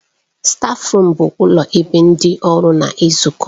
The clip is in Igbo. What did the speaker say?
Stáfruum bụ ụlọ ebe ndị ọrụ na-ezukọ.